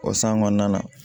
O san kɔnɔna na